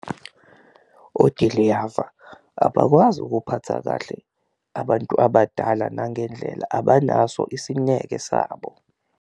Odiliyava abakwazi ukuphatha kahle abantu abadala nangendlela, abanaso isineke sabo.